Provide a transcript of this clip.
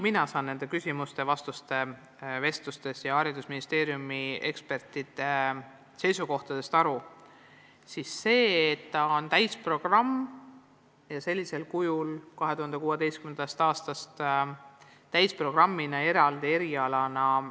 Mina saan nendest küsimustest-vastustest-vestlustest ja haridusministeeriumi ekspertide seisukohtadest aru nii, et sellisel kujul, nagu koolitus 2016. aastast täisprogrammina, eraldi erialana on toimunud, enam ei jätku.